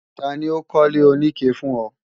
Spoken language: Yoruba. Tani ó kọ́lé oníke fún ọ?